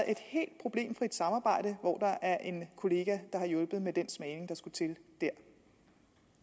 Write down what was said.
et helt problemfrit samarbejde hvor der er en kollega der har hjulpet med den smagning der skulle til der